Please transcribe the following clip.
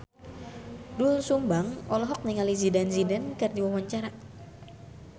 Doel Sumbang olohok ningali Zidane Zidane keur diwawancara